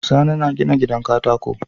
Sani na gina gidan katako